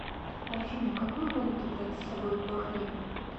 афина какую валюту брать с собой в бахрейн